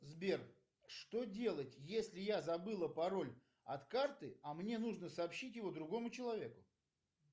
сбер что делать если я забыла пароль от карты а мне нужно сообщить его другому человеку